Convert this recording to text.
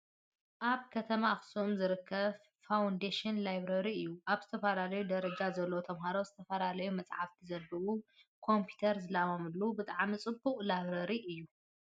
ኣብ ከተማ ኣክሱም ዝርከብ ፋውንደሽን ላይብረሪ እዩ። ኣብ ዝተፈላለዩ ደረጃ ዘለው ተማሃሮ ዝተፈላለዩ መፅሓፍቲ ዘንብብሉን ኮምፒተር ዝላማምድሉ ብጣዕሚ ፅቡቅ ላይብረሪ እዩ።